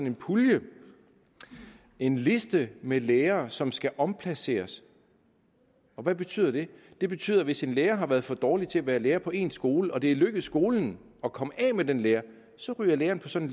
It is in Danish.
en pulje en liste med lærere som skal omplaceres og hvad betyder det det betyder at hvis en lærer har været for dårlig til at være lærer på en skole og det er lykkedes skolen at komme af med den lærer så ryger læreren på sådan